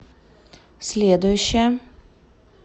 следующая